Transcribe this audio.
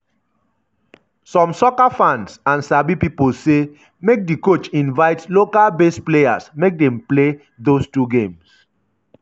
some soccer fans and sabi pipo say make di coach invite local-based players make dem play those two games.